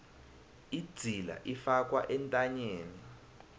idzila ifakwa entanyeni